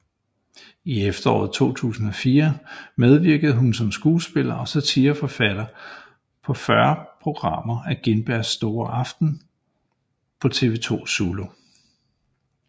I efteråret 2004 medvirkede hun som skuespiller og satireforfatter på 40 programmer af Gintbergs store aften på TV 2 Zulu